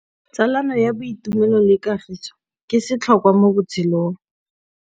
Tsalano ya boitumelo le kagiso ke setlhôkwa mo botshelong.